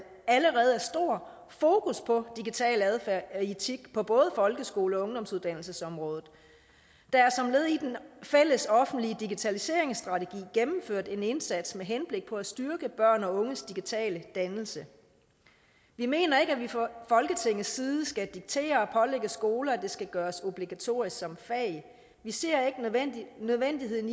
allerede er stor fokus på digital adfærd og etik på både folkeskole og ungdomsuddannelsesområdet der er som led i den fælles offentlige digitaliseringsstrategi gennemført en indsats med henblik på at styrke børns og unges digitale dannelse vi mener ikke at vi fra folketingets side skal diktere og pålægge skoler at det skal gøres obligatorisk som fag vi ser ikke nødvendigheden